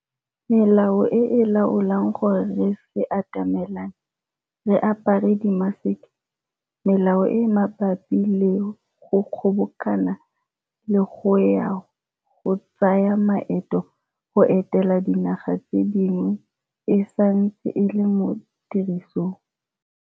Melao e e laolang gore re se atamelane, re apare dimaseke, melao e e mabapi le go kgobokana le ya go tsaya maeto go etela dinaga tse dingwe e santse e le mo tirisong.